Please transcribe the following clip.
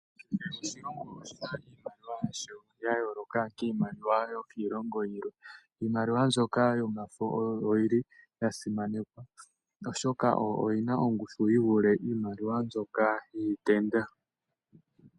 Kehe oshilongo oshina iimaliwa yasho ya yooloka kiimaliwa yokiilongo iikwawo. Iimaliwa mbyoka yomafo oyo yili yasimanekwa, oshoka oyo yina ongushu yivule mbyoka yiitenda.